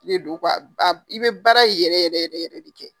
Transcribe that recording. Ne don i be baara yɛrɛ yɛrɛ yɛrɛ yɛrɛ de kɛ.